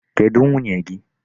Kedụ nwunye gị?